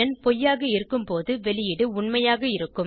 பொய்யாக இருக்கும்போது வெளியீடு உண்மையாக இருக்கும்